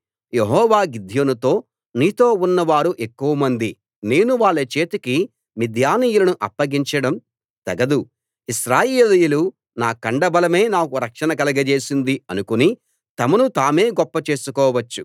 యెహోవా గిద్యోనుతో నీతో ఉన్నవారు ఎక్కువ మంది నేను వాళ్ల చేతికి మిద్యానీయులను అప్పగించడం తగదు ఇశ్రాయేలీయులు నా కండబలమే నాకు రక్షణ కలుగజేసింది అనుకుని తమను తామే గొప్ప చేసుకోవచ్చు